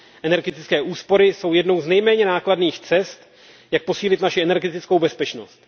Energetické úspory jsou jednou z nejméně nákladných cest, jak posílit naši energetickou bezpečnost.